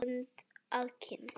Leggur hönd að kinn.